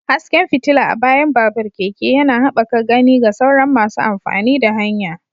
Hasken fitila a bayan babur/keke yana haɓaka gani ga sauran masu amfani da hanya.